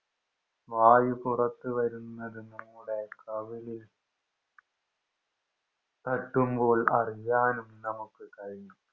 വായു പുറത്ത് വരുന്നത് നമ്മുടെ കവിളിൽ തട്ടുമ്പോൾ അറിയാനും നമ്മുക്ക് കയ്യും